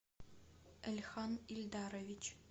эльхан ильдарович